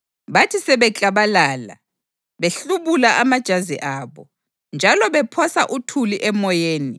Bathi sebeklabalala, behlubula amajazi abo, njalo bephosa uthuli emoyeni,